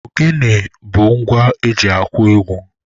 Ogene bụ eji akụ egwu.